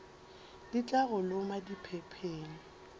di tla go loma diphepheng